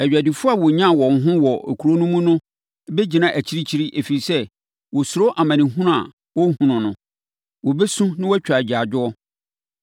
Adwadifoɔ a wɔnyaa wɔn ho wɔ kuro no mu no bɛgyina akyirikyiri ɛfiri sɛ, wɔsuro amanehunu a ɔrehunu no. Wɔbɛsu na wɔatwa agyaadwoɔ,